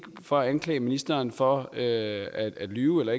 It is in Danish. for at anklage ministeren for at lyve eller